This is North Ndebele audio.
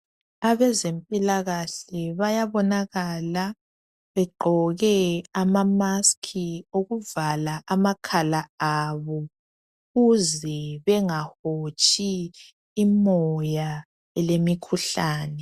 Abezempilakahle bayabonakalabegqoke ama mask okuvala amakhala abo ukuze bengahotshi imota elemikhuhlane.